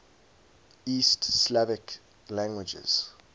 east slavic languages